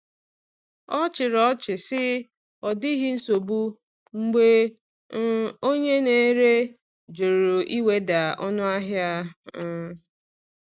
Ọ chịrị ọchị sị, “Ọ dịghị nsogbu,” mgbe um onye na-ere jụrụ iweda ọnụahịa. um um